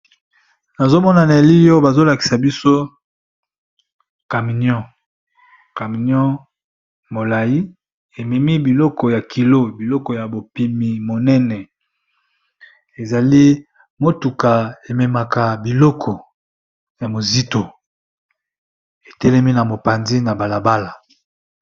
nazomona na elilioyo bazolakisa biso caminion molai ememi biloko ya kilo biloko ya bopimi monene ezali motuka ememaka biloko ya mozito etelemi na mopandi na balabala